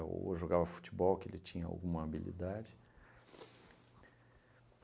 Ou jogava futebol, que ele tinha alguma habilidade.